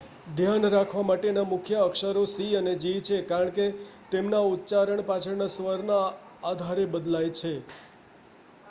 ધ્યાન રાખવા માટેના મુખ્ય અક્ષરો સી અને જી છે કારણ કે તેમના ઉચ્ચારણ પાછળના સ્વરના આધારે બદલાય છે